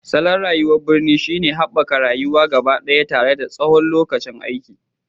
Salon rayuwar birni shine haɓakar rayuwa gabaɗaya tare da tsawon lokacin aiki,